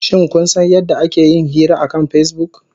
Shin kun san yadda ake yin hira akan Facebook?